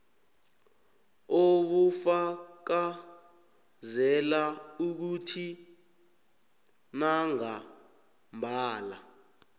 obufakazela ukuthi nangambala